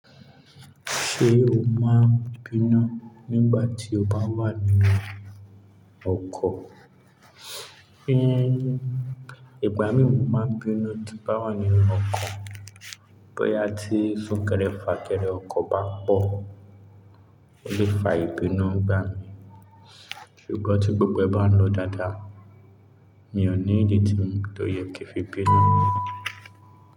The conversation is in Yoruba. Ṣé o máa ń bínú nígbà tí o bá wà nínú ọkọ̀? Ìgbà mí mò máa ń bínú tí bá wà nínú ọkọ̀. Bóyá tí súnkẹrẹ fà kẹrẹ ọkọ̀ bá pọ̀, ó lè fa ìbínú nígbà mí. Ṣùgbọ́n tí gbogbo ẹ bá ń lọ dáadáa, mi ò ní ìdí to yẹ ki fi bínú.